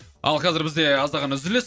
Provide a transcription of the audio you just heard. ал қазір бізде аздаған үзіліс